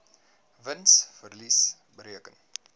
wins verlies bereken